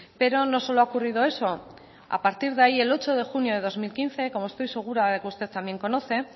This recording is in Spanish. pero no solo ha ocurrido eso a partir de ahí el ocho de junio de dos mil quince como estoy segura de que usted también conoce